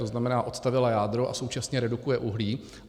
To znamená, odstavila jádro a současně redukuje uhlí.